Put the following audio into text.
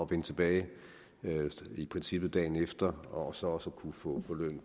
vende tilbage i princippet dagen efter og så også at kunne få